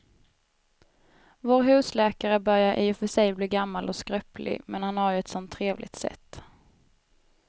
Vår husläkare börjar i och för sig bli gammal och skröplig, men han har ju ett sådant trevligt sätt!